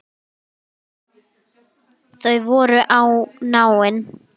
Þau voru náin.